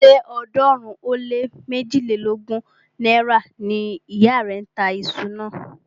Ṣé ọ̀ọ́dúnrún ó lé méjilélógún náírà ni ìyá rẹ̀ ń tà iṣu náà?